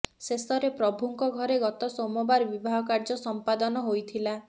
ଶେଷରେ ପ୍ରଭୁଙ୍କ ଘରେ ଗତ ସୋମବାର ବିବାହ କାର୍ଯ୍ୟ ସମ୍ପାଦନ ହୋଇଥିଲା